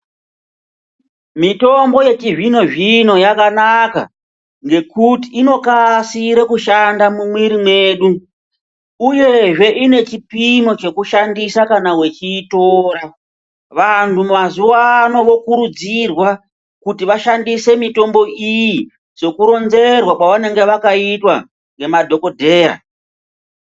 Mitombo yechizvino zvino yakanaka ngekuti inokasira kushanda mumwiiri mwedu uyezve inechipimo chekushandisa kana wechiitora vantu mazuvaano vokurudzirwa kuti vashandise mitombo iyi sekuronzerwa kwavanenge vakaitwa nemadhokodheya.